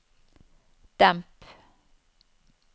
demp